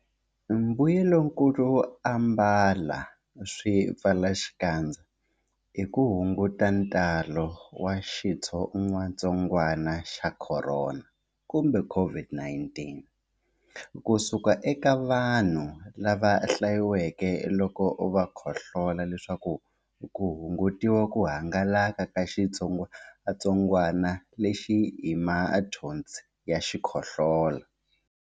Mbuyelonkulu wo ambala swipfalaxikandza i ku hunguta ntalo wa xitsongwantsongwana xa Khorona COVID-19 ku suka eka vanhu lava hlaseriweke loko va khohlola leswaku ku hungutiwa ku hangalaka ka xitsongwantsongwana lexi hi mathonsi ya xikhohlola.